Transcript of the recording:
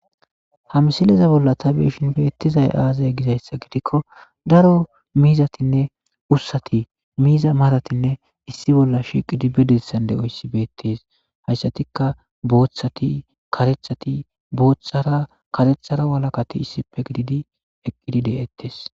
Hamsileza bolla tabeeshin beettizay aazay gizayssa gidikko daro miizatinne ussati miiza maratinne issi bolla shiqi dibedessan de'oyssi beettees hayssatikka booththati katethati booththara karethara walakati issipe gididi eqqidide'ettes